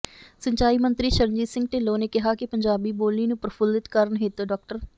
ਸਿੰਚਾਈ ਮੰਤਰੀ ਸ਼ਰਨਜੀਤ ਸਿੰਘ ਢਿੱਲੋਂ ਨੇ ਕਿਹਾ ਕਿ ਪੰਜਾਬੀ ਬੋਲੀ ਨੂੰ ਪ੍ਰਫੁੱਲਿਤ ਕਰਨ ਹਿਤ ਡਾ